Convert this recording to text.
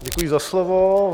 Děkuji za slovo.